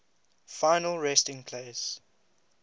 final resting place